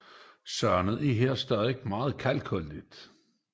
Sandet er her stadig meget kalkholdigt